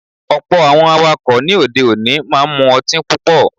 Ọ̀pọ̀ Àwọn awakọ̀ ní òde òní máa ń mú ọtín púpọ̀.